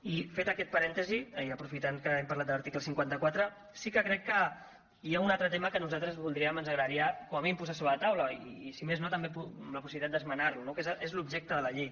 i fet aquest parèntesi i aprofitant que hem parlat de l’article cinquanta quatre sí que crec que hi ha un altre tema que nosaltres voldríem ens agradaria com a mínim posar sobre la taula i si més no també la possibilitat d’esmenar lo que és l’objecte de la llei